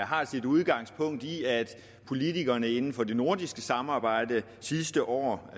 har sit udgangspunkt i at politikerne inden for det nordiske samarbejde sidste år